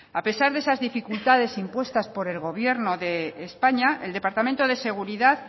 a pesar de esas dificultades impuestas por el gobierno de españa el departamento de seguridad